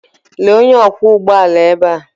Lee onye ọkwọ ụgbọ ala ebe a.